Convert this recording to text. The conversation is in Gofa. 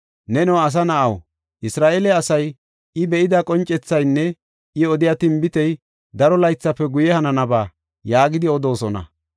“Neno asa na7aw, Isra7eele asay, ‘I be7ida qoncethaynne I odiya tinbitey daro laythafe guye hananaba’ yaagidi odoosona.